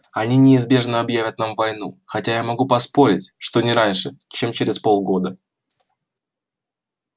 они неизбежно объявят нам войну хотя я могу поспорить что не раньше чем через полгода